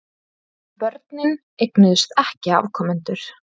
En börnin eignuðust ekki afkomendur.